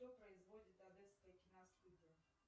что производит одесская киностудия